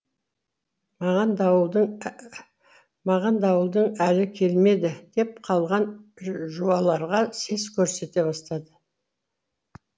маған дауылдың әлі келмеді деп қалған жуаларға сес көрсете бастады